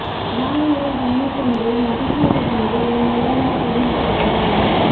நாண்மலர் வன்னி கொன்றை நதிசூடி வந்து என் உளமே புகுந்த அதனால்